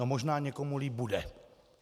No, možná někomu líp bude.